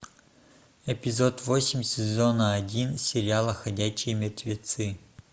эпизод восемь сезона один сериала ходячие мертвецы